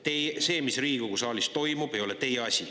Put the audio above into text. Et see, mis Riigikogu saalis toimub, ei ole teie asi.